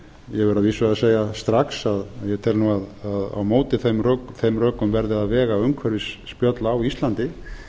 verð að vísu að segja strax að ég tel nú að á móti þeim rökum verði að vega umhverfisspjöll á íslandi